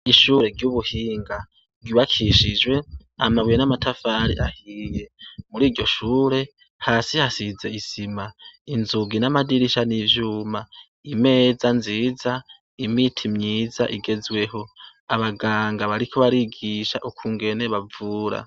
Ishure ry'ubuhinga ryubakishijwe amabuye n'amatafari ahiye muri iryo shure hasi hasize isima inzugi n'amadirisha ni ivyuma imeza nziza imiti myiza igezweho abaganga bariko barigisha ukungene bavura.